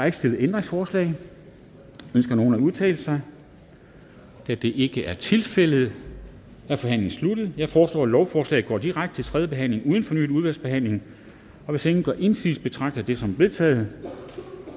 ikke stillet ændringsforslag ønsker nogen at udtale sig da det ikke er tilfældet er forhandlingen sluttet jeg foreslår at lovforslaget går direkte til tredje behandling uden fornyet udvalgsbehandling hvis ingen gør indsigelse betragter jeg det som vedtaget